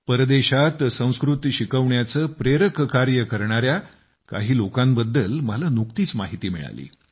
परदेशात संस्कृत शिकवण्याचे प्रेरक कार्य करणाऱ्या काही लोकांबद्दल मला नुकतीच माहिती मिळाली